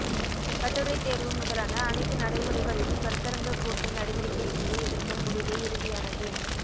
கட்டுரைத்தேர்வு முதலான அனைத்து நடைமுறைகளிலும் கருத்தரங்க கூட்டு நடவடிக்கைக்குழு எடுக்கும் முடிவே இறுதியானது